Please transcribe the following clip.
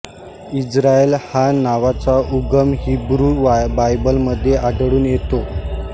Israel ह्या नावाचा उगम हिब्रू बायबलमध्ये आढळून येतो